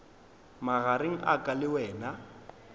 magareng a ka le wena